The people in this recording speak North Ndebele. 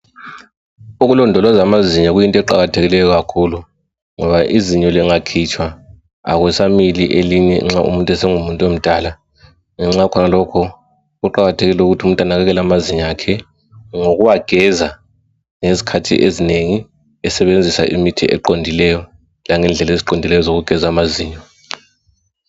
Ukulondoloza amazinyo kuyinto eqakathekileyo kakhulu ngoba izinyo lingakhitshwa akusamili elinye nxa umuntu esengumuntu omdala, ngenxa yakhonalokho kuqakathekile ukuthi umuntu anakekele amazinyo akhe ngokuwageza ngezikhathi ezinengi esebenzisa imithi eqondileyo langendlela eziqondileyo zokugeza amazinyo.